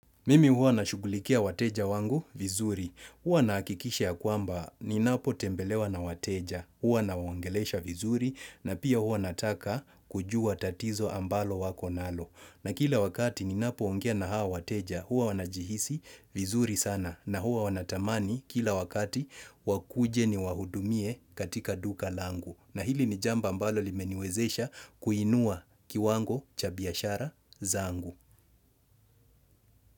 Mimi huwa nashughulikia wateja wangu vizuri. Huwa nahakikisha ya kwamba ni napo tembelewa na wateja. Huwa nawaongelesha vizuri na pia huwa nataka kujua tatizo ambalo wako nalo. Na kila wakati ninapo ongea na hao wateja huwa wanajihisi vizuri sana. Na huwa wanatamani kila wakati wakuje ni wahudumie katika duka langu. Na hili ni jambo ambalo limeniwezesha kuinua kiwango cha biashara zangu.